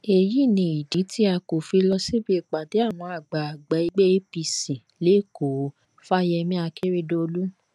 èyí ni ìdí tí a kò fi lọ síbi ìpàdé àwọn àgbààgbà ẹgbẹ apc lékòó fáyẹmí akérèdọlù